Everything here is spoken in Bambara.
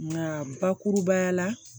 Nka bakurubaya la